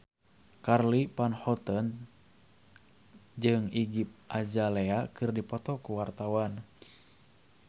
Charly Van Houten jeung Iggy Azalea keur dipoto ku wartawan